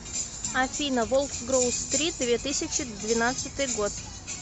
афина волк с гроу стрит две тысячи двенадцатый год